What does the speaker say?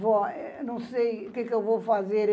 Vó, eu não sei o que que eu vou fazer.